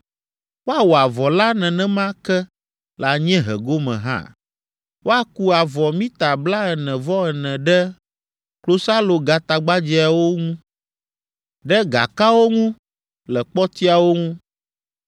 Woawɔ avɔ la nenema ke le anyiehe gome hã. Woaku avɔ mita blaene-vɔ-ene ɖe klosalogatagbadzɛawo ŋu, ɖe gakawo ŋu le kpɔtiawo ŋu.